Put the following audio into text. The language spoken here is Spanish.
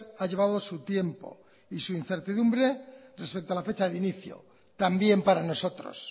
ha llevado su tiempo y su incertidumbre respecto a la fecha de inicio también para nosotros